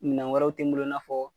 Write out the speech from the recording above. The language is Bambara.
Minɛn wɛrɛw tɛ n bolo i n'a fɔ.